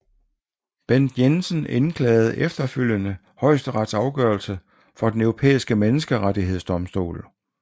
Bent Jensen indklagede efterfølgende Højesterets afgørelse for Den Europæiske Menneskerettighedsdomstol